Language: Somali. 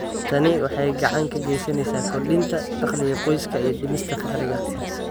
Tani waxay gacan ka geysaneysaa kordhinta dakhliga qoyska iyo dhimista faqriga.